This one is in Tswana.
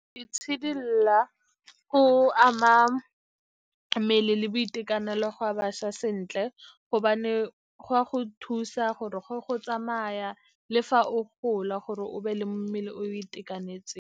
Itshidila go ama mmele le boitekanelo ga bašwa sentle, gobane go ya go thusa gore go tsamaya le fa o gola gore o be le mmele o o itekanetseng.